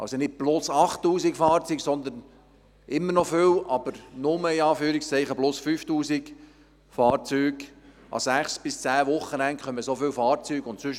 Es ist also nicht ein Plus von 8000 Fahrzeugen, sondern «nur» ein Plus von 5000 Fahrzeugen an sechs bis zehn Wochenenden.